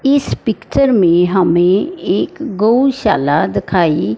इस पिक्चर में हमें एक गौशाला दिखाई--